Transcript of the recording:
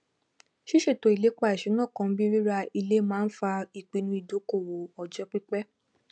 ṣíṣètò ilépa ìṣúná kan bíi rira ilé máa ń fa ìpinnu ìdókòwò ọjọ pípẹ